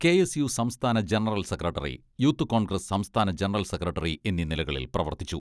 K S U സംസ്ഥാന general secretary, youth Congress സംസ്ഥാന general secretary, എന്നീ നിലകളിൽ പ്രവർത്തിച്ചു.